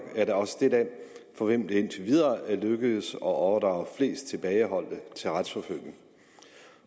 er da også det land for hvem det indtil videre er lykkedes at overdrage flest tilbageholdte til retsforfølgning